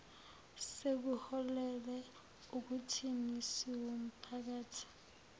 sekuholele ekuthini siwumphakathi